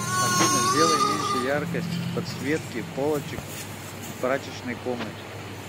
афина сделай меньше яркость подсветки полочек в прачечной комнате